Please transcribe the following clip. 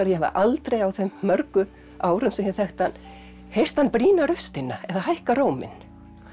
ég hafi aldrei á þeim mörgu árum sem ég þekkti hann heyrt hann brýna raustina eða hækka róminn